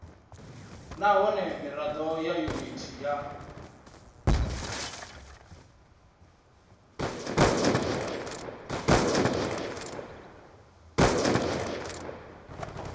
nahone mirado ya yuniti ya